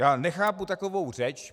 Já nechápu takovou řeč.